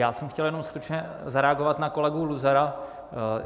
Já jsem chtěl jenom stručně zareagovat na kolegu Luzara.